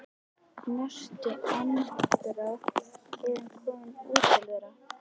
Í næstu andrá er hann kominn út til þeirra.